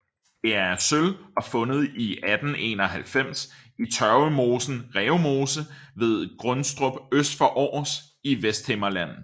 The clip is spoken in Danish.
Det er af sølv og fundet i 1891 i tørvemosen Rævemose ved Gundestrup øst for Aars i Vesthimmerland